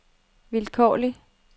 vilkårlig